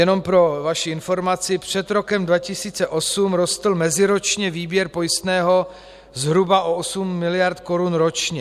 Jenom pro vaši informaci: před rokem 2008 rostl meziročně výběr pojistného zhruba o 8 mld. korun ročně.